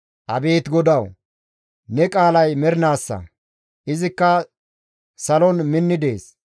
Abeet GODAWU! Ne qaalay mernaasa; izikka salon minni dees.